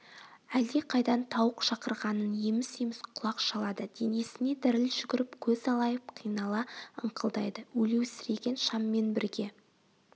әлдеқайдан тауық шақырғанын еміс-еміс құлақ шалады денесіне діріл жүгіріп көз алайып қинала ыңқылдайды өлеусіреген шаммен бірге